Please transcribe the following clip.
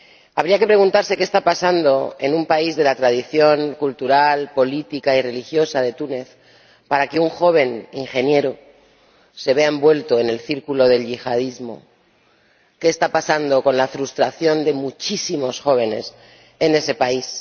Habría que preguntarse qué está pasando en un país de la tradición cultural, política y religiosa de Túnez para que un joven ingeniero se vea envuelto en el círculo del yihadismo, qué está pasando con la frustración de muchísimos jóvenes en ese país.